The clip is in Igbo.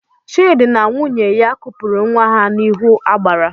Chidi na nwunye ha kupuru nwa ha n'ihu agbara